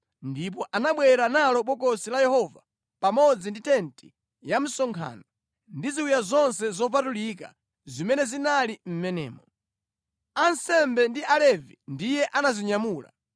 ndipo anabwera nalo Bokosi la Yehova pamodzi ndi tenti ya msonkhano ndi ziwiya zonse zopatulika zimene zinali mʼmenemo. Ansembe ndi Alevi ndiye anazinyamula,